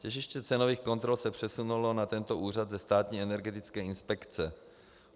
Těžiště cenových kontrol se přesunulo na tento úřad ze Státní energetické inspekce.